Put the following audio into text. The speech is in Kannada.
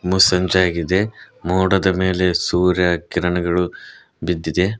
ಮುಸ್ಸಂಜೆಯಾಗಿದೆ ಮೋಡದ ಮೇಲೆ ಸೂರ್ಯ ಕಿರಣಗಳು ಬಿದ್ದಿದೆ.